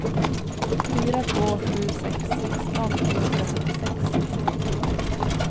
fyra två sju sex sexton trehundrasjuttiosex